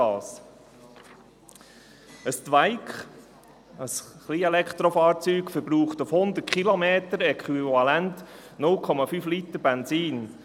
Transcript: Ein «Twike», ein Kleinelektrofahrzeug, verbraucht auf 100 Kilometer äquivalent 0,5 Liter Benzin.